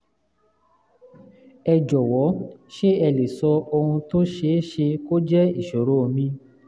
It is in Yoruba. ẹ jọ̀wọ́ ṣé ẹ lè sọ ohun tó ṣeé ṣe kó jẹ́ ìṣòro mi?